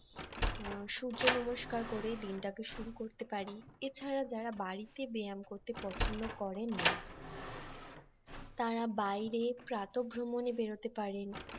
সূর্য নমস্কার করে দিনটাকে শুরু করতে পারি এছাড়া যারা বাড়িতে ব্যায়াম করতে পছন্দ করেন না তারা বাইরে প্রাতভ্রমনে বেরোতে পারেন